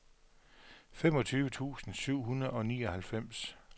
femogtyve tusind syv hundrede og nioghalvfems